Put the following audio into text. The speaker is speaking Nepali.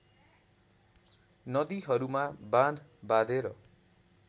नदीहरूमा बाँध बाँधेर